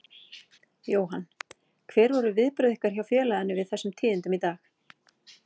Jóhann: Hver voru viðbrögð ykkar hér hjá félaginu við þessum tíðindum í dag?